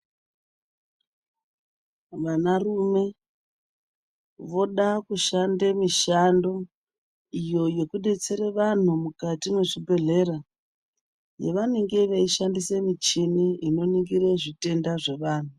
Vana rume voda kushanda mishando iyo yekudetsera vantu mukati mwezvibhedhleya yavanenge veishandisa michini inoningire zvitenda zvevantu.